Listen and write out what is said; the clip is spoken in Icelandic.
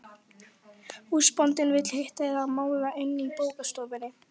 Húsbóndinn vill hitta þig að máli inni í bókastofunni.